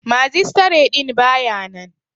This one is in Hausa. Magistare din ba ya nan.